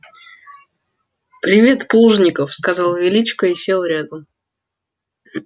привет плужников сказал величко и сел рядом